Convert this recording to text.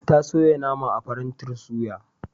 Ta soya nama a farantin suya.